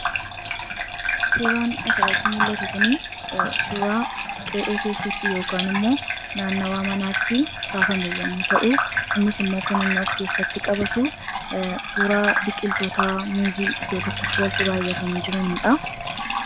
suuraan asrati mul'atu kun suuraa qee'ee keessatti yookaan immoo naannawaa manaatti kaafame yommuu ta'u innis immoo kan inni of keessatti qabatu suuraa biqiltoota muuzii iddoo tokkotti walxaxee baayyatanii jiraniidha.